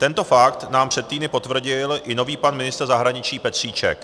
Tento fakt nám před týdny potvrdil i nový pan ministr zahraničí Petříček.